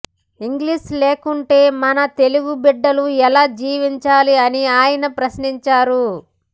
English లేకుంటే మన తెలుగు బిడ్డలు ఎలా జీవించాలి అని ఆయన ప్రశ్నించారు